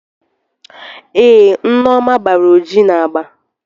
Ee, Neoma gbara ojii na agba.